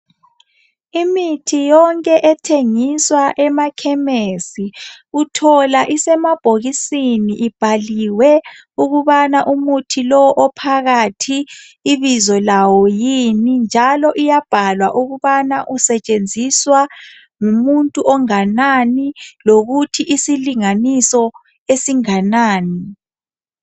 imithi yonke ethengiswa emakhemesi uthola isemabhokisini ibhaliwe ukubana umuthi ophakathi ibizo lawo yini njalo iyabhalwa ukuthi usetshenziswa ngumuntu onganani lokuthi isilinganiso esinganani